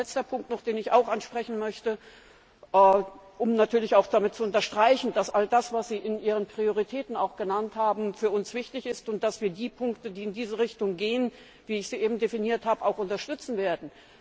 Ein letzter Punkt, den ich ansprechen möchte, um natürlich auch damit zu unterstreichen, dass all das, was Sie in Ihren Prioritäten genannt haben, für uns wichtig ist, und dass wir die Punkte, die in diese Richtung gehen, wie ich sie eben definiert habe, auch unterstützen werden.